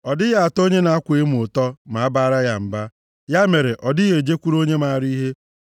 Ọ dịghị atọ onye na-akwa emo ụtọ ma a baara ya mba, ya mere ọ dịghị ejekwuru onye maara ihe.